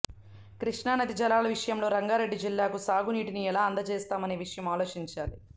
కృష్ణానది జలాల విషయంలో రంగారెడ్డి జిల్లాకు సాగునీటిని ఎలా అందజేస్తామనే విషయం ఆలోచించాలి